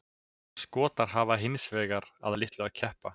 Skotar hafa hins vegar að litlu að keppa.